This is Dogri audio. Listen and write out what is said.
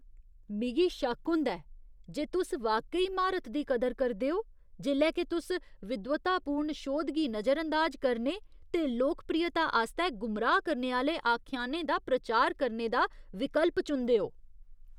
मिगी शक्क होंदा ऐ जे तुस वाकई विशेषज्ञता दी कदर करदे ओ जेल्लै के तुस विद्वत्तापूर्ण शोध गी नजरअंदाज करने ते लोकप्रियता आस्तै गुमराह करने आह्‌ले आख्यानें दा प्रचार करने दा विकल्प चुनदे ओ ।